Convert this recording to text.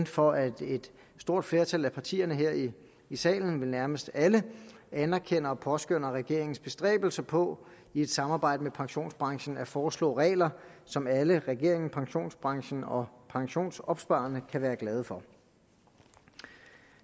for at et stort flertal af partierne her i salen vel nærmest alle anerkender og påskønner regeringens bestræbelser på i et samarbejde med pensionsbranchen at foreslå regler som alle regeringen pensionsbranchen og pensionsopsparerne kan være glade for